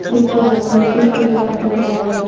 ଚିଡ୍ ଚିଡ୍ ଚିଡ୍ ଚିଡ୍ ହୁଅନ୍ତି ସବୁ ବେଳେ